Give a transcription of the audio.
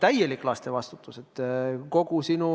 Täielik laste vastutus!